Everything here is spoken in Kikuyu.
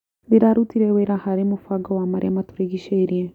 Ndĩrarutire wĩra harĩ mũbango wa marĩa matũrigicĩirie.